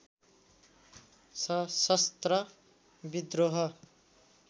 सशस्त्र विद्रोह